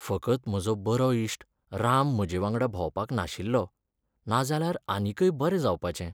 फकत म्हजो बरो इश्ट राम म्हजेवांगडा भोंवपाक नाशिल्लो, नाजाल्यार आनीकय बरें जावपाचें.